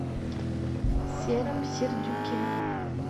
сером сердюке